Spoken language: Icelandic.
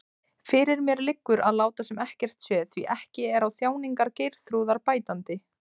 Fyrir mér liggur að láta sem ekkert sé, því ekki er á þjáningar Geirþrúðar bætandi.